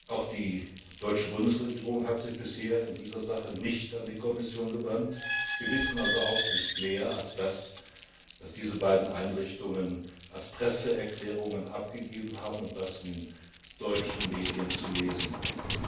Auch die deutsche Bundesregierung hat sich bisher in dieser Sache nicht an die Kommission gewandt. Wir wissen also auch nicht mehr als das, was diese beiden Einrichtungen als Presseerklärungen abgegeben haben und was in den deutschen Medien zu lesen war.